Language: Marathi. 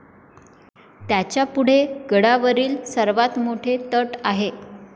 त्याच्यापुढे गडावरील सर्वात मोठे तट आहे